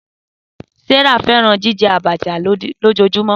Sarah fẹran jijẹ Abacha lojoojumọ.